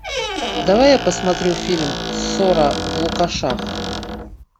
давай я посмотрю фильм ссора в лукашах